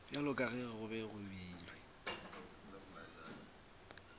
bjalo ka ge go beilwe